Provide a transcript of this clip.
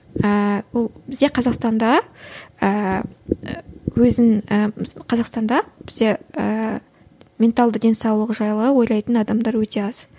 ііі бұл бізде қазақстанда ыыы өзін ііі қазақстанда бізде ііі менталды денсаулығы жайлы ойлайтын адамдар өте аз